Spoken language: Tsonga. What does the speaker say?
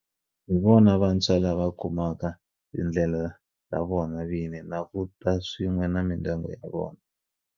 Hi vona vantshwa lava kumaka tindlela ta vona vini na ku ta swin'we na mindyangu ya vona.